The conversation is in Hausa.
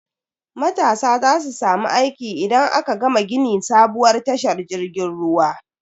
Matasa za su samu aiki idan aka gama gini sabuwar tashar jirgin ruwa.